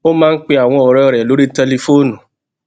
ó máa ń pe àwọn òré rè lórí tẹlifóònù